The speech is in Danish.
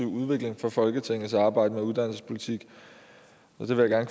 udvikling for folketingets arbejde med uddannelsespolitik og det vil jeg